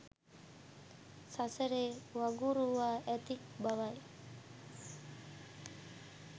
සසරේ වගුරුවා ඇති බවයි